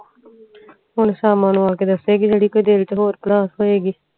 ਹੁਨਸ਼ਾਮ ਨੂੰ ਆ ਕੇ ਦੱਸੇਗੀ ਜਿਹੜੇ ਕ ਦਿਲ ਹੋਰ ਭੜਾਸ ਹੋਏਗੀ